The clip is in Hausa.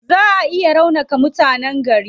Zaa a iya raunaka mutanen gari.